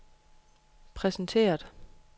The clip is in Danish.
præsenteret